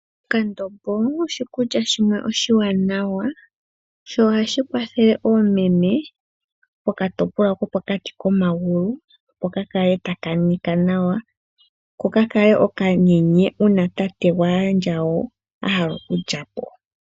Endombo oshikulya shimwe oshiwanawa sho ohashi kwathele oomeme pokatopolwa kopo kati komagulu . Opo ka kale taka nika nawa ko ka kale oka toye uuna tate gwaandjawo ahala oku lya po.